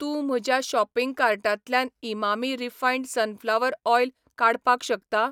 तूं म्हज्या शॉपिंग कार्टांतल्यान इमामी रिफायंड सनफ्लावर ऑयल काडपाक शकता?